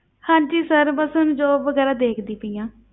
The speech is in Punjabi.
ਹਾਂਜੀ sir ਬਸ ਹੁਣ job ਵਗ਼ੈਰਾ ਦੇਖਦੀ ਪਈ ਹਾਂ।